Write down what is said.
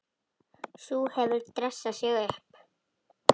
Sú hefur dressað sig upp!